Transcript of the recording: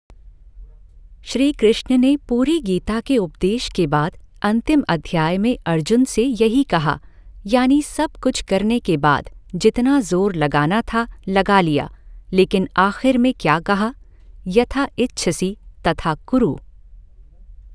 श्रीकृष्ण ने पूरी गीता के उपदेश के बाद अंतिम अध्याय में अर्जुन से यही कहा, यानि सब कुछ करने के बाद, जितना जोर लगाना था लगा लिया लेकिन आख़िर में क्या कहा, यथा इच्छसि तथा कुरु।